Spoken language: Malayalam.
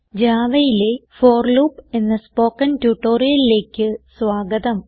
Javaയിലെ ഫോർ ലൂപ്പ് എന്ന സ്പോകെൻ ട്യൂട്ടോറിയലിലേക്ക് സ്വാഗതം